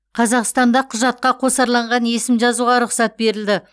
қазақстанда құжатқа қосарланған есім жазуға рұқсат берілді